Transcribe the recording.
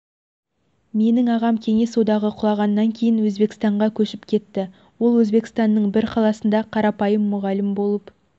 менің ағам кеңес одағы құлағаннан кейін өзбекстанға көшіп кетті ол өзбекстанның бір қаласында қарапайым мұғалім болып